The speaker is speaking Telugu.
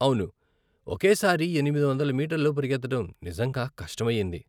అవును, ఒకే సారి ఎనిమిది వందల మీటర్లు పరిగెత్తడం నిజంగా కష్టమయ్యింది.